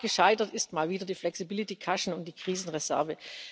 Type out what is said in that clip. Am Rat gescheitert sind mal wieder das Flexibilitätspolster und die Krisenreserve.